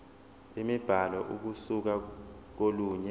imibhalo ukusuka kolunye